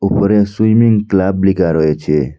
উপরে swimming club লিকা রয়েছে।